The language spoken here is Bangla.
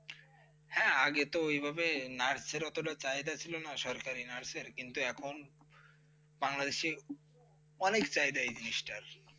হ্যাঁ আগে তো এইভাবে nurse সেরকম কোনো চাহিদা ছিলনা সরকারি nurse এর কিন্তু এখন বাংলাদেশ এর অনেক জায়গায় এই জিনিসটার